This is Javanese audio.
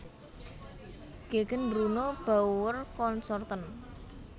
Gegen Bruno Bauer Consorten